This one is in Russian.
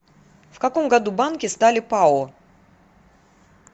в каком году банки стали пао